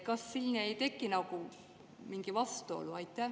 Kas siin ei teki mingi vastuolu?